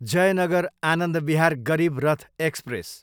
Jaynagar, Anand Vihar Garib Rath express